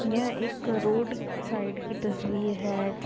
यह एक road side की तस्वीर है।